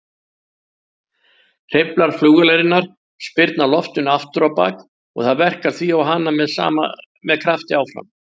Hreyflar flugvélarinnar spyrna loftinu afturábak og það verkar því á hana með krafti áfram.